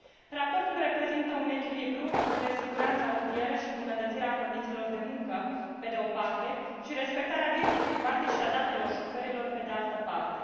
Raportul reprezintă un echilibru între siguranța rutieră și îmbunătățirea condițiilor de muncă, pe de o parte, și respectarea vieții private și a datelor șoferilor, pe de altă parte.